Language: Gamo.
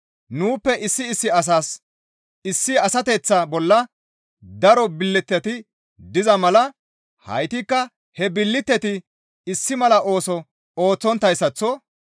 Nuuppe issi issi asas issi asateththa bolla daro billiteti diza mala heytikka he billiteti issi mala ooso ooththonttayssaththo,